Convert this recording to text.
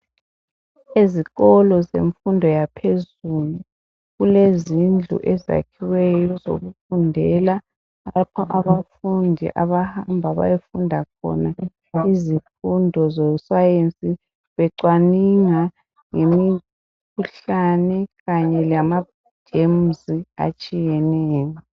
Ezikolo zemfundo yaphezulu kulezindlu ezakhiweyo ezokufundela lapho abafundi abahamba bayefunda khona izifundo zescience becwaninga ngemikhuhlane kanye lama germs atshiyeneyo.